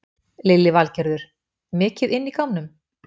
Lillý Valgerður: Mikið inn í gámnum?